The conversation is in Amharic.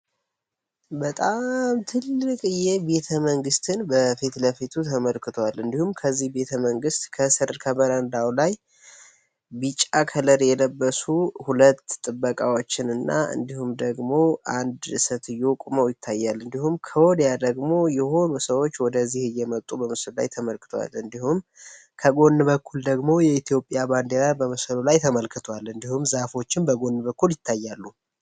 በጣም ትልቅ ቤተ መንግስትን በፊት ለፊቱ ተመልክቷል። እንዲሁም ከዚህ ቤተ መንግስት ከስር ከበረንዳው ላይ ቢጫ ከለር የለበሱ ሁለት ጥበቃዎችን እና እንዲሁም ደግሞ አንድ ሴትዮ ቁመው ይታያሉ። እንዲሁም ክወድያ ደግሞ የሆኑ ሰዎች ወደዚህ እየመጡ በምስሎ ላይ ተመልክቷል እንዲሁም ከጎን በኩል ደግሞ የኢትዮጵያ ባንዴራር በመሰሉ ላይ ተመልክቷል እንዲሁም ዛፎችን በጎን በኩል ይታያሉ።